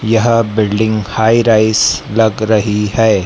यह building high rise लग रही है।